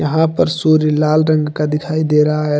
पर सूर्य लाल रंग का दिखाई दे रहा है।